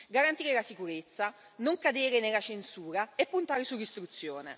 garantire la sicurezza, non cadere nella censura e puntare sull'istruzione.